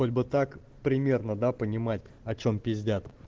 хоть бы так пример да понимать о чем пиздят